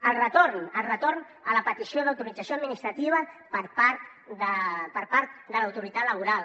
el retorn el retorn a la petició d’autorització administrativa per part de l’autoritat laboral